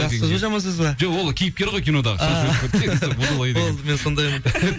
жақсы сөз ба жаман сөз ба жоқ ол кейіпкер ғой кинодағы болды мен сондаймын